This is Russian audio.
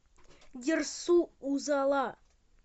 дерсу узала